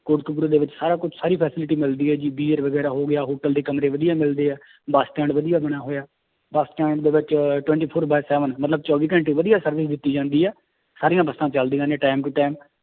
ਕੋਟਕਪੁਰੇ ਦੇ ਵਿੱਚ ਸਾਰਾ ਕੁਛ ਸਾਰੀ facility ਮਿਲਦੀ ਹੈ ਜੀ ਬੀਅਰ ਵਗ਼ੈਰਾ ਹੋ ਗਿਆ hotel ਦੇ ਕਮਰੇ ਵਧੀਆ ਮਿਲਦੇ ਹੈ ਬਸ stand ਵਧੀਆ ਬਣਿਆ ਹੋਇਆ, ਬਸ stand ਦੇ ਵਿੱਚ twenty four by seven ਮਤਲਬ ਚੋਵੀ ਘੰਟੇ ਵਧੀਆ service ਦਿੱਤੀ ਜਾਂਦੀ ਹੈ ਸਾਰੀਆਂ ਬੱਸਾਂ ਚੱਲਦੀਆਂ ਨੇ time to time